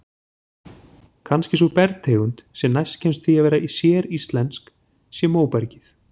Kannski sú bergtegund sem næst kemst því að vera séríslensk sé móbergið.